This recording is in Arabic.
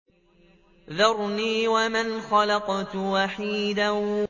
ذَرْنِي وَمَنْ خَلَقْتُ وَحِيدًا